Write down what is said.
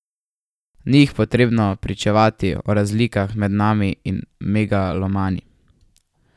Ni jih potrebno prepričevati o razlikah med nami in megalomani.